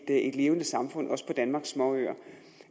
et levende samfund også på danmarks småøer